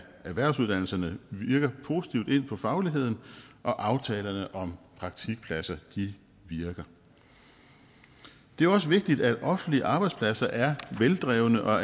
erhvervsuddannelserne virker positivt ind på fagligheden og aftalerne om praktikpladser virker det er også vigtigt at offentlige arbejdspladser er veldrevne og